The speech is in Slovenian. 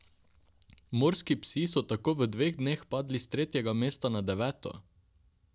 Morski psi so tako v dveh dneh padli s tretjega mesta na deveto!